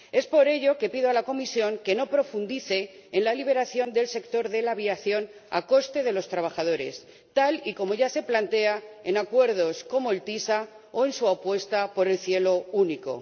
Por ello, pido a la Comisión que no profundice en la liberación del sector de la aviación a costa de los trabajadores, tal y como ya se plantea en acuerdos como el ACS o en su apuesta por el cielo único.